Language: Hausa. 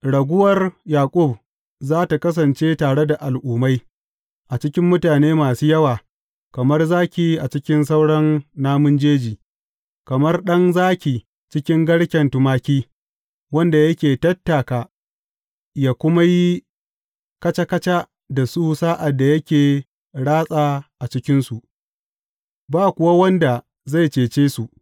Raguwar Yaƙub za tă kasance tare da al’ummai, a cikin mutane masu yawa, kamar zaki a cikin sauran namun jeji, kamar ɗan zaki cikin garken tumaki, wanda yake tattaka yă kuma yi kaca kaca da su sa’ad da yake ratsa a cikinsu, ba kuwa wanda zai cece su.